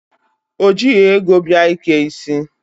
O jighị ego bịa ike isi.